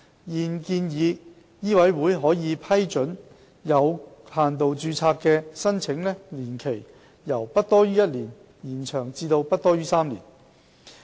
現建議醫委會可批准有限度註冊的申請年期，由不多於1年延長至不多於3年。